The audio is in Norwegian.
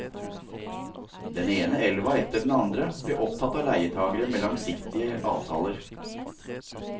Den ene elva etter den andre ble opptatt av leietagere med langsiktige avtaler.